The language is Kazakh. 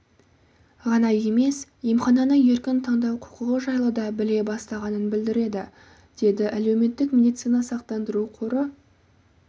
ғана емес емхананы еркін таңдау құқығы жайлы дабіле бастағанын білдіреді деді әлеуметтік медициналық сақтандыру қоры